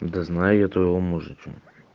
да знаю я твоего мужа что